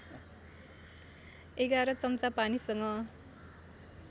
११ चम्चा पानीसँग